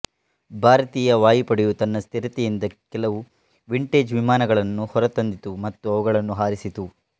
ಭಾರತೀಯ ವಾಯುಪಡೆಯು ತನ್ನ ಸ್ಥಿರತೆಯಿಂದ ಕೆಲವು ವಿಂಟೇಜ್ ವಿಮಾನಗಳನ್ನು ಹೊರತಂದಿತು ಮತ್ತು ಅವುಗಳನ್ನು ಹಾರಿಸಿತು